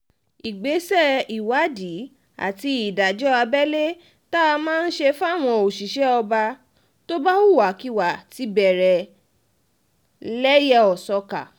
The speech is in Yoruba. ìgbésẹ̀ ìwádìí àti ìdájọ́ abẹ́lé tá a máa ń ṣe fáwọn òṣìṣẹ́ ọba tó bá hùwàkiwà ti bẹ̀rẹ̀ lẹ́yẹ-ò-sọkà